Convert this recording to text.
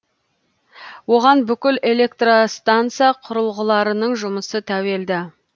оған бүкіл электростанса құрылғыларының жұмысы тәуелді